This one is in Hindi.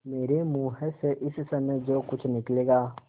मेरे मुँह से इस समय जो कुछ निकलेगा